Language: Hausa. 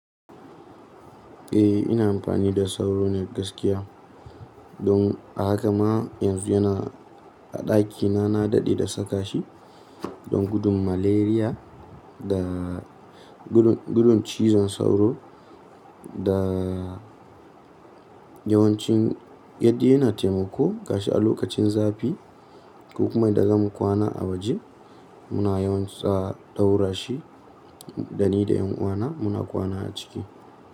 Eh ina amfani da sauro nagaskiya. Don a haka ma yanzu yana a ɗakina na daɗe da saka shi don gudun malaria da gudun cizon sauro da yawancin yaddi yana taimako gashi a lokacin zafi ko kuma idan zamu kwana a waje muna yawan tsawa ɗaura shi da ni da ƴan uwana muna kwana a ciki.